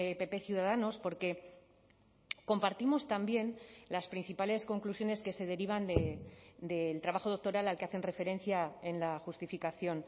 pp ciudadanos porque compartimos también las principales conclusiones que se derivan del trabajo doctoral al que hacen referencia en la justificación